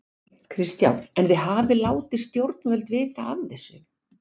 Kristján: En þið hafið látið stjórnvöld vita af þessu?